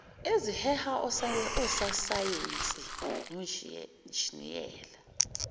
eziheha ososayense onjiniyela